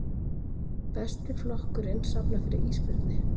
Besti flokkurinn safnar fyrir ísbirni